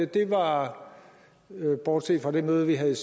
det var bortset fra det møde vi havde